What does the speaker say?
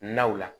Naw la